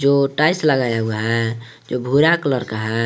जो टाइल्स लगाया हुआ है जो भूरा कलर का है।